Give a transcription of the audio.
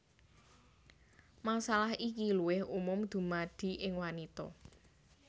Masalah iki luwih umum dumadi ing wanita